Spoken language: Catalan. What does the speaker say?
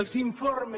els informes